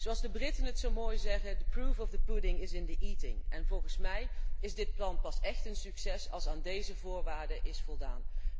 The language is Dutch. Zoals de Britten het zo mooi zeggen the proof of the pudding is in the eating en volgens mij is dit plan pas echt een succes als aan deze voorwaarde is voldaan.